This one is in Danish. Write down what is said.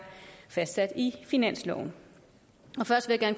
fastsat i finansloven og først vil jeg